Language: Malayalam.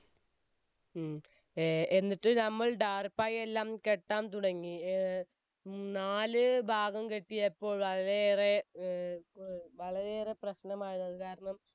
ഉം എന്നിട്ട് നമ്മൾ ടാർപ്പായിയെല്ലാം കെട്ടാൻ തുടങ്ങി ഏർ നാലുഭാഗം കെട്ടിയപ്പോൾ വളരെ ഏറെ ഏർ പ്രശ്‌നമായതാണ് കാരണം